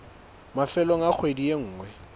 mafelong a kgwedi e nngwe